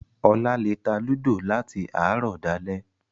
Ọlá lè ta Ludo láti àárọ̀ dalẹ́